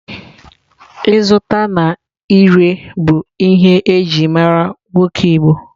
Ịzụta na ire bụ ihe e ji mara nwoke igbo.